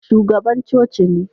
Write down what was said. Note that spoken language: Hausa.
Shugaban coci ne